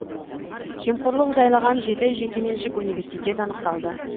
жемқорлық жайлаған жеті жекеменшік университет анықталды